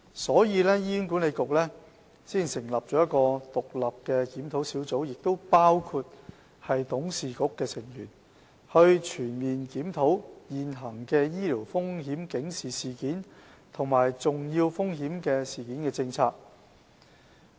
所以，醫管局才會成立一個獨立的檢討小組，當中包括董事局的成員，以期全面檢討現行的醫療風險警示事件及重要風險事件政策。